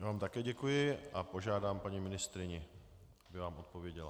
Já vám také děkuji a požádám paní ministryni, aby vám odpověděla.